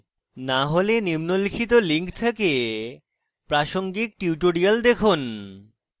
না হলে নিম্নলিখিত লিঙ্ক থেকে প্রাসঙ্গিক tutorials দেখুন